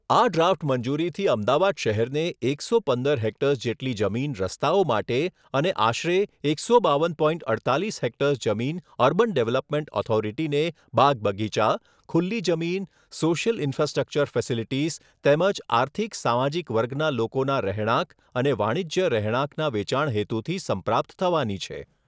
આ ડ્રાફ્ટ મંજૂરીથી અમદાવાદ શહેરને એકસો પંદર હેક્ટર્સ જેટલી જમીન રસ્તાઓ માટે અને આશરે એકસો બાવન પોઇન્ટ અડતાલીસ હેક્ટર્સ જમીન અર્બન ડેવલપમેન્ટ ઓથોરીટીને બાગ બગીચા, ખુલ્લી જમીન, સોશિયલ ઇન્ફ્રાસ્ટ્રકચર ફેસેલીટીઝ તેમજ આર્થિક સામાજીક વર્ગના લોકોના રહેણાંક અને વાણિજ્ય રહેણાંકના વેચાણ હેતુથી સંપ્રાપ્ત થવાની છે.